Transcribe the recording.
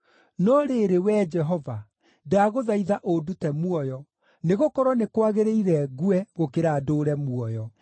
No rĩrĩ, Wee Jehova, ndagũthaitha ũndute muoyo; nĩgũkorwo nĩ kwagĩrĩire ngue, gũkĩra ndũũre muoyo.”